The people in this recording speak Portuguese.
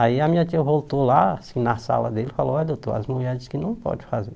Aí a minha tia voltou lá, assim, na sala dele e falou, olha doutor, as mulheres dizem que não podem fazer.